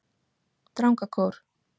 Drangakór